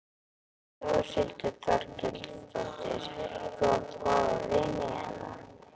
Þórhildur Þorkelsdóttir: Þú átt góða vini hérna?